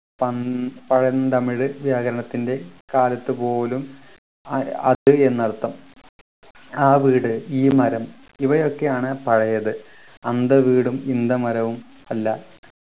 പൻ പഴന്തമിഴ് വ്യാകരണത്തിൻ്റെ കാലത്ത് പോലും അ അത് എന്നർത്ഥം ആ വീട് ഈ മരം ഇവയൊക്കെയാണ് പഴയത് അന്ത വീടും ഇന്ത മരവും അല്ല